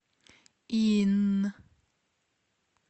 инн